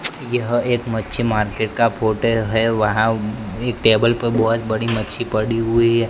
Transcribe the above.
यह एक मच्छी मार्केट का फोटो है वहां एक टेबल पर बहोत बड़ी मछली पड़ी हुई--